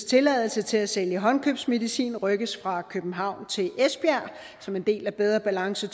tilladelser til at sælge håndkøbsmedicin rykkes fra københavn til esbjerg som en del af bedre balance